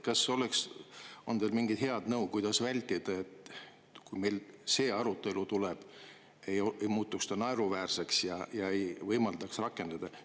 Kas teil on head nõu anda, et kui meil see arutelu tuleb, siis kuidas vältida seda, et see muutuks naeruväärseks ja seda ei saaks rakendada.